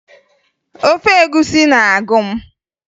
Ofe egwusi na-agụ m